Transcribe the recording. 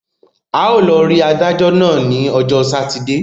A ó lọ rí adájọ́ náà ní ọjọ́ sátidé.